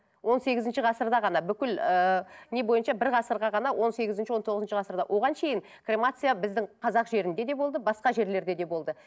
он сегізінші ғасырда ғана бүкіл ыыы не бойынша бір ғасырға ғана он сегізінші он тоғызыншы ғасырда оған кремация біздің қазақ жерінде де болды басқа жерлерде де болды